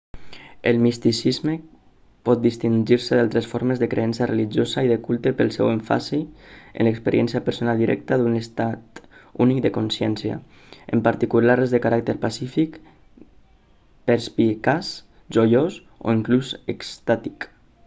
el misticisme pot distingir-se d'altres formes de creença religiosa i de culte pel seu èmfasi en l'experiència personal directa d'un estat únic de consciència en particular les de caràcter pacífic perspicaç joiós o inclús extàtic